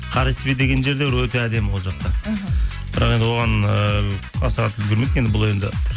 кареспе деген жер де өте әдемі ол жақта іхі бірақ енді оған ыыы аса қатты үлгермедік бұл енді